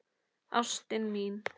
Ástin mín